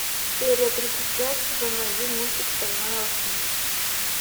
серия тридцать пять сезона один мультик стальной алхимик